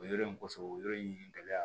O yɔrɔ in kɔfɛ o yɔrɔ in gɛlɛya